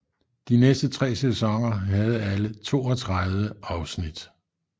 De næste tre sæsoner havde alle 32 afsnit